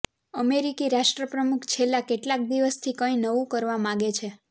અમેરિકી રાષ્ટ્રપ્રમુખ છેલ્લા કેટલાક દિવસથી કંઈ નવું કરવા માંગે છે